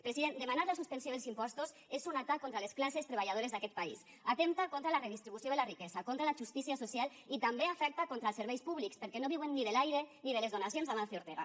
president demanar la suspensió dels impostos és un atac contra les classes treballadores d’aquest país atempta contra la redistribució de la riquesa contra la justícia social i també afecta contra els serveis públics perquè no viuen ni de l’aire ni de les donacions d’amancio ortega